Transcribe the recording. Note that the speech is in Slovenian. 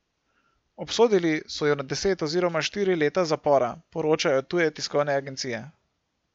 Obsodili so ju na deset oziroma štiri leta zapora, poročajo tuje tiskovne agencije.